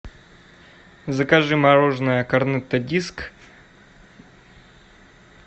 закажи мороженое корнетто диск